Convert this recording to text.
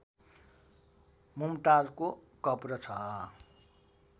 मुमताजको कब्र छ